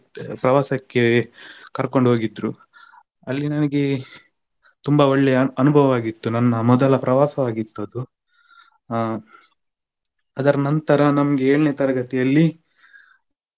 ಪ್ರವಾಸಕ್ಕೆ ಕರ್ಕೊಂಡು ಹೋಗಿದ್ರು ಅಲ್ಲಿ ನನಿಗೆ ತುಂಬಾ ಒಳ್ಳೆ ಅನುಭವ ಆಗಿತ್ತು ನನ್ನ ಮೊದಲ ಪ್ರವಾಸ ಆಗಿತ್ತು ಅದು ಅ ಅದರ ನಂತರ ನಮಗೆ ಏಳನೇ ತರಗತಿಯಲ್ಲಿ